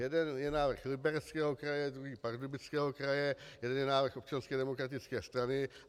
Jeden je návrh Libereckého kraje, druhý Pardubického kraje, jeden je návrh Občanské demokratické strany.